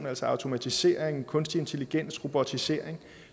altså automatisering kunstig intelligens robotisering